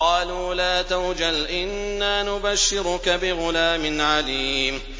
قَالُوا لَا تَوْجَلْ إِنَّا نُبَشِّرُكَ بِغُلَامٍ عَلِيمٍ